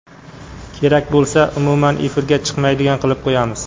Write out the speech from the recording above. Kerak bo‘lsa, umuman efirga chiqmaydigan qilib qo‘yamiz.